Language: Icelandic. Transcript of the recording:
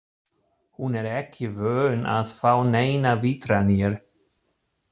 Hún er ekki vön að fá neinar vitranir.